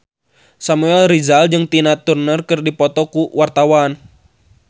Samuel Rizal jeung Tina Turner keur dipoto ku wartawan